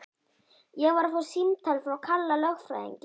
Ég var að fá símtal frá Kalla lögfræðingi.